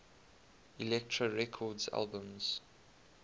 elektra records albums